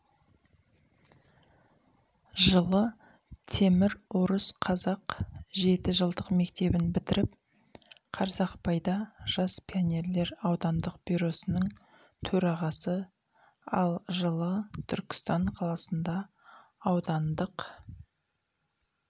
жылы темір орыс қазақ жеті жылдық мектебін бітіріп қарсақпайда жас пионерлер аудандық бюросының төрағасы ал жылы түркістан қаласында аудандық